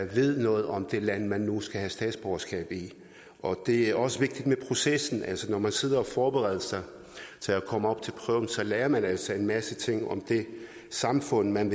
ved noget om det land man nu skal have statsborgerskab i og det er også vigtigt med processen når man sidder og forbereder sig til at komme op til prøven lærer man altså en masse ting om det samfund man